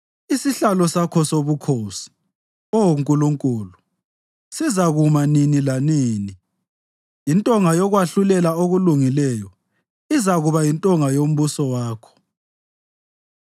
Isihlalo sakho sobukhosi, Oh Nkulunkulu, sizakuma nini lanini; intonga yokwahlulela okulungileyo izakuba yintonga yombuso wakho.